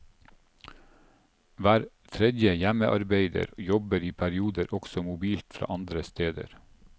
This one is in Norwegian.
Hver tredje hjemmearbeider jobber i perioder også mobilt fra andre steder.